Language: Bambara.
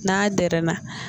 N'a dɛrɛɛn na